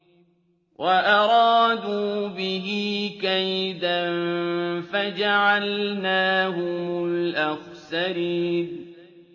وَأَرَادُوا بِهِ كَيْدًا فَجَعَلْنَاهُمُ الْأَخْسَرِينَ